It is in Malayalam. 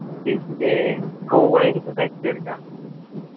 പിന്നെ college പ്പോ set എടുക്കാ